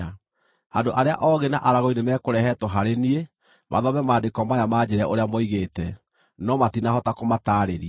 Andũ arĩa oogĩ na aragũri nĩmekũrehetwo harĩ niĩ mathome maandĩko maya manjĩĩre ũrĩa moigĩte, no matinahota kũmataarĩria.